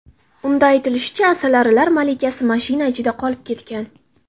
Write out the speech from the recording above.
Unda aytilishicha, asalarilar malikasi mashina ichida qolib ketgan.